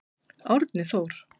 Árni Þór.